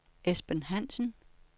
Esben Hansen